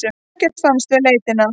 Ekkert fannst við leitina.